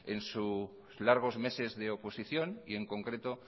en sus largos meses de oposición y en concreto